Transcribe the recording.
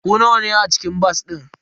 Ku nawa ne a cikin bas din?